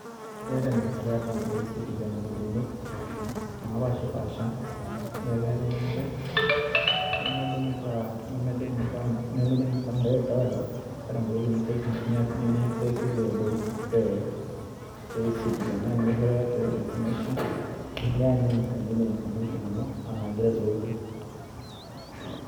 Keeta ejing'ata e akaunt e e-citizen igolikinot, napashipasha, nemejing'ita nemejing' akaunt direct, keeta nkuti limitations nimiaksesie te ntoki, te e-citizen. Neya nishooyo creative information, neya neyany sainkine information ino, anaa igira ai log in.